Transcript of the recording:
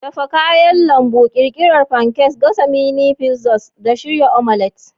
Dafa kayan lambu, ƙirƙirar pancakes, gasa mini pizzas, da shirya omelet.